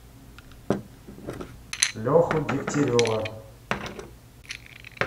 леху дегтярева